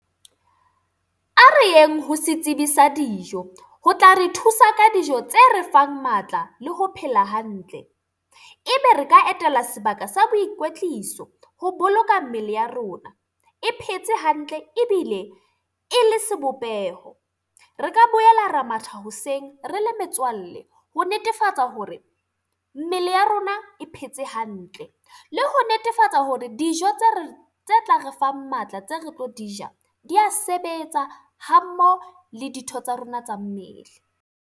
Ha re yeng ho setsibi sa dijo. Ho tla re thusa ka dijo tse re fang matla le ho phela hantle. E be re ka etela sebaka sa boikwetliso, ho boloka mmele ya rona e phetse hantle ebile e le sebopeho. Re ka boela ra matha hoseng re le metswalle, ho netefatsa hore mmele ya rona e phetse hantle. Le ho netefatsa hore dijo tse re tse tla re fang matla tseo re tlo di ja, di a sebetsa ha mmoho le ditho tsa rona tsa mmele.